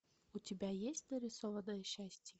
у тебя есть нарисованное счастье